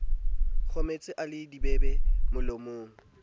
kgohletse a le dibebe molomong